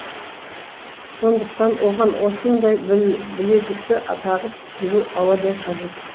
сондықтан оған осындай білезікті а тағып жүру ауадай қажет